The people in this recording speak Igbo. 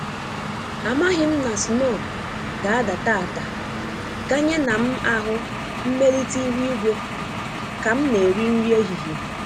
Amaghị m na snow ga-ada taata ganye na m ahụ mmelite ihu-igwe ka m na-eri nri ehihie